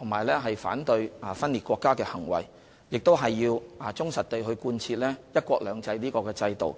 以及反對分裂國家的行為，亦要忠實地貫徹"一國兩制"的原則。